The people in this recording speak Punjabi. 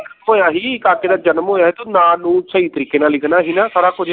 ਉਹ ਆਹੀ ਕਾਕੇ ਦਾ ਜਨਮ ਹੋਇਆ ਤੂੰ ਨਾਂ ਨੂੰ ਸਹੀ ਤਰੀਕੇ ਨਾਲ ਲਿਖਣਾ ਸੀ ਨਾ ਸਾਰਾ ਕੁਛ